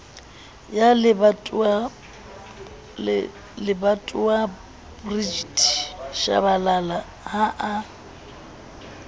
ya lebatowabrigitte shabalala ha a